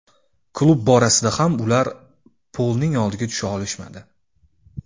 Klub borasida ham ular Polning oldiga tusha olishmadi.